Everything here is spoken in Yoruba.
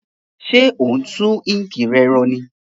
Sé o n tun ink re ro ní